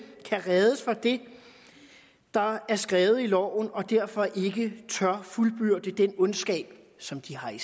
kan ræddes for det der er skrevet i loven og derfor ikke tør fuldbyrde den ondskab som de har i